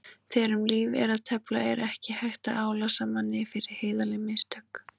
Þegar um lífið er að tefla er ekki hægt að álasa manni fyrir heiðarleg mistök.